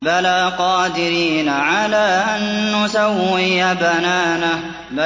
بَلَىٰ قَادِرِينَ عَلَىٰ أَن نُّسَوِّيَ بَنَانَهُ